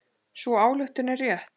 Sú ályktun er rétt.